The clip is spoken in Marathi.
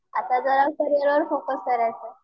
आता जरा करियर वर फोकस करायचं आहे.